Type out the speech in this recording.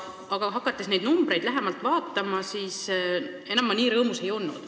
Aga hakates neid numbreid lähemalt vaatama, ma enam nii rõõmus ei olnud.